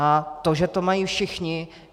A to, že to mají všichni?